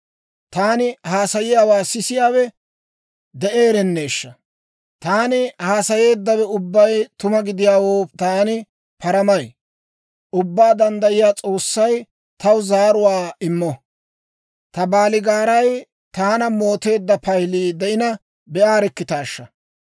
«Taani haasayiyaawaa sisiyaawe de'eerenneeshsha! Taani haasayeeddawe ubbay tuma gidiyaawo taani paramay; Ubbaa Danddayiyaa S'oossay taw zaaruwaa immo. Ta baaligaaray taana mooteedda paylii de'ina, be'aarikkitaashsha!